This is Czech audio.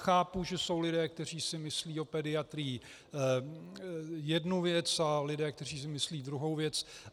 Chápu, že jsou lidé, kteří si myslí o pediatrii jednu věc, a lidé, kteří si myslí druhou věc.